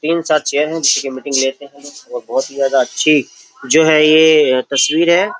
तीन साथ चेयर है जिसकी मीटिंग लेते हैं और बहुत ही ज्यादा अच्छी जो है ये तस्वीर है।